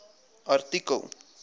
artikel